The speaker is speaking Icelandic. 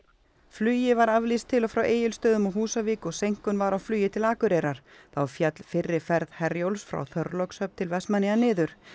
flugi var aflýst til og frá Egilsstöðum og Húsavík og seinkun var á flugi til Akureyrar þá féll fyrri ferð Herjólfs frá Þorlákshöfn til Vestmannaeyja niður